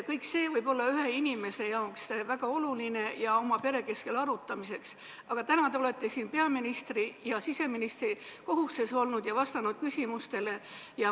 Kõik see võib olla ühele inimesele väga oluline ja sobiv oma pere keskel arutamiseks, aga täna te olete siin olnud peaministri ja siseministri kohustes ning vastanud küsimustele.